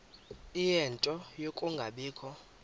ie nto yokungabikho